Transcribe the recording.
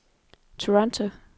Toronto